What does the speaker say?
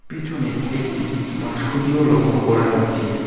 পিছনে একটি বাঁশখুঁটিও লক্ষ করা যাচ্ছে।